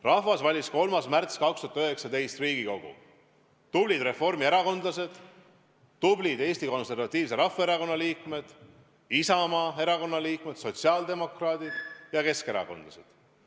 Rahvas valis 3. märtsil 2019 Riigikogu: tublid reformierakondlased, tublid Eesti Konservatiivse Rahvaerakonna liikmed, Isamaa erakonna liikmed, sotsiaaldemokraadid ja keskerakondlased.